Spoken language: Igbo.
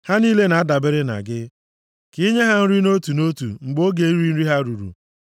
Ha niile na-adabere na gị, ka i nye ha nri nʼotu nʼotu, mgbe oge iri nri ha ruru.